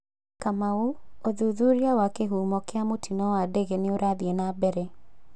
Kamau: ũthuthuria wa kĩhumo kĩa mũtino wa ndege nĩũrathiĩ na mbere.